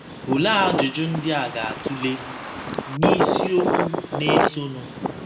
Olee ajụjụ ndị a ga - atụle n’isiokwu na - esonụ